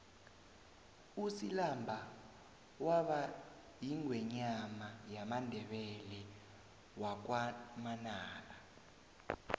usilamba waba yingwenyama yamandebele wakwamanala